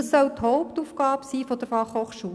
Dies soll die Hauptaufgabe der FH sein.